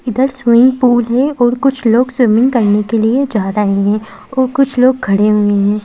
इधर swimming pool है और कुछ लोग स्विमिंग करने के लिए जा रहे हैं और कुछ लोग खड़े हुए हैं।